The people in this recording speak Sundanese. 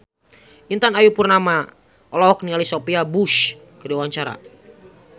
Intan Ayu Purnama olohok ningali Sophia Bush keur diwawancara